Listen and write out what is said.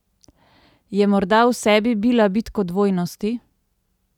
Je morda v sebi bila bitko dvojnosti?